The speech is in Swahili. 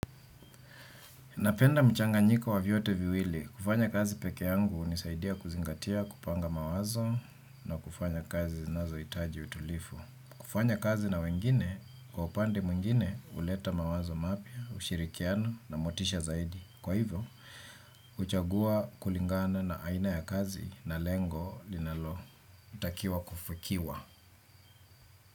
Napenda mchanganyiko wa vyote viwili. Kufanya kazi peke yangu unisaidia kuzingatia kupanga mawazo na kufanya kazi zinazoitaji utulifu. Kufanya kazi na wengine, kwa upande mwingine, uleta mawazo mapya, ushirikiano na motisha zaidi. Kwa hivyo, uchagua kulingana na aina ya kazi na lengo linalotakiwa kufikiwa.